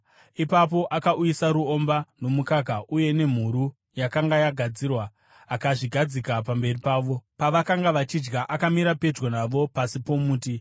Ipapo akauyisa ruomba nomukaka uye nemhuru yakanga yagadzirwa, akazvigadzika pamberi pavo. Pavakanga vachidya, akamira pedyo navo pasi pomuti.